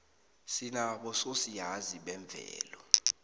sinabo sosiyazi bezemvelo